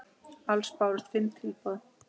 Alls bárust fimm tilboð.